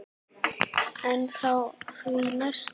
En á því næsta?